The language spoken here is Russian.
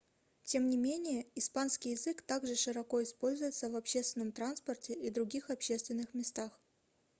тем не менее испанский язык также широко используется в общественном транспорте и других общественных местах